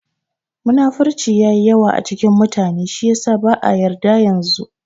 Munafurci yayi yawa a cikin mutane shi yasa ba'a yarda yanzu